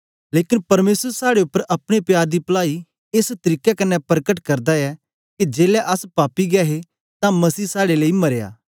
लेकन परमेसर साड़े उपर अपने प्यार दी पलाई एस तरीके कन्ने परकट करदा ऐ के जेलै अस पापी गै हे तां मसीह साड़े लेई मरया